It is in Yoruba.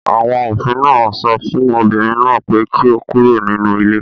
Àwọn òfin náà sọ fún obìnrin náà pé kí ó kúrò nínú ilé